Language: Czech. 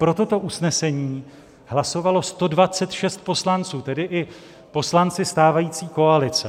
Pro toto usnesení hlasovalo 126 poslanců, tedy i poslanci stávající koalice.